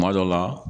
Kuma dɔ la